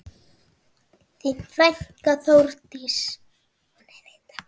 Þín frænka, Þórdís.